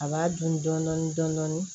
A b'a dun dɔɔni dɔɔni dɔɔni